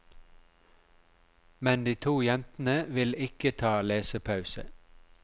Men de to jentene vil ikke ta lesepause.